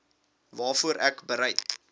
waarvoor ek bereid